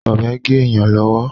Ọ̀bẹ ń gé èyàn lọ́wọ́.